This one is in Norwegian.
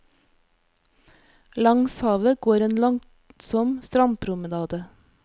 Langs havet går en langsom strandpromenade.